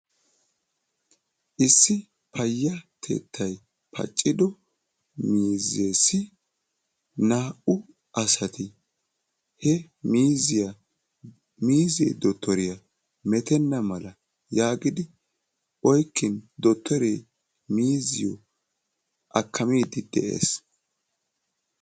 Issi payyatettay paaccido miizessi naa"u asati he miiziya miize Dottoriyanne metenna mala yaagidi oyqqidi Dottore miiziyo akkamiide de'ees.